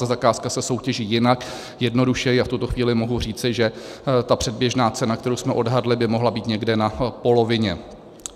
Ta zakázka se soutěží jinak, jednodušeji, a v tuto chvíli mohu říci, že ta předběžná cena, kterou jsme odhadli, by mohla být někde na polovině.